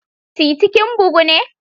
TITI kin bugu ne?